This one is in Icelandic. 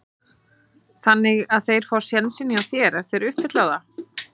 Þannig að þeir fá sénsinn hjá þér ef þeir uppfylla það?